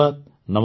ଧନ୍ୟବାଦ